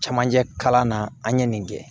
Camancɛ kalan na an ye nin kɛ